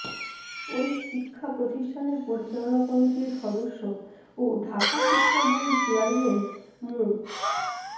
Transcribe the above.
ওই শিক্ষাপ্রতিষ্ঠানের পরিচালনা কমিটির সদস্য ও ঢাকা শিক্ষা বোর্ডের চেয়ারম্যান মু